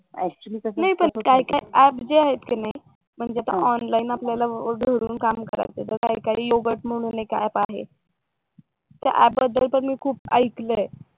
नाही पण काही काही अप जे आहेत कि नाही म्हणजे ऑनलाईन आपल्याला घरून काम करायचंय तर काही काही योगड म्हणून एक अप आहे त्या अप बद्दल तर मी खूप ऐकलंय